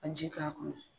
Ka ji k'a kɔnɔ